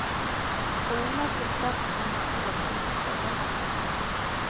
Kollen er fullsatt som om det skulle vært en fotballkamp.